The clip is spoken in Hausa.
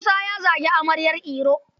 Musa ya zagi amaryar Iro.